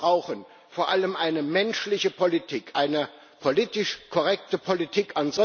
Wir brauchen vor allem eine menschliche Politik, eine politisch korrekte Politik.